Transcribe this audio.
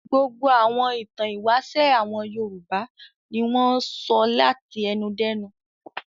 Gbogbo àwọn ìtàn ìwáṣẹ̀ àwọn Yorùbá ni wọ́n sọ láti ẹnu dẹ́nu.